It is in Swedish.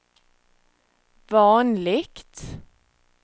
vanligt